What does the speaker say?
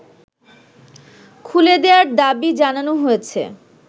খুলে দেয়ার দাবি জানানো হয়েছে